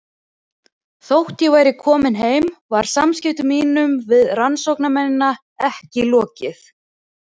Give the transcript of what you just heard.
Þótt ég væri komin heim var samskiptum mínum við rannsóknarmennina ekki lokið.